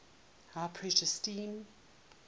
high pressure steam